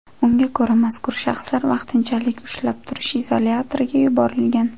Unga ko‘ra, mazkur shaxslar vaqtinchalik ushlab turish izolyatoriga yuborilgan.